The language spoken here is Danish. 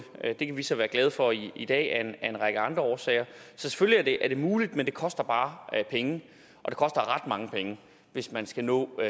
det kan vi så være glade for i i dag af en række andre årsager så selvfølgelig er det muligt men det koster bare penge og det koster ret mange penge hvis man skal nå